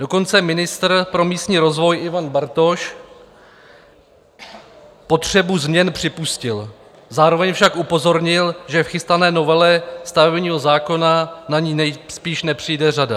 Dokonce ministr pro místní rozvoj Ivan Bartoš potřebu změn připustil, zároveň však upozornil, že v chystané novele stavebního zákona na ni nejspíš nepřijde řada.